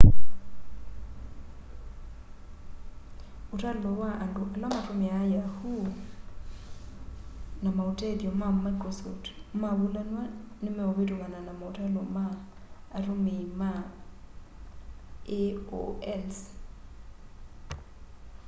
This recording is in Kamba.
ũtalo wa andũ ala matũmĩaa yahoo na maũtethyo ma mĩcrosoft mavũlanwa nĩmeũvĩtũkana na maũtalo ma atũmĩĩma aol's